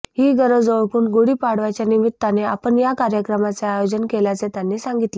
ही गरज ओळखून गुढीपाडव्याच्या निमित्ताने आपण या कार्यक्रमाचे आयोजन केल्याचे त्यांनी सांगितले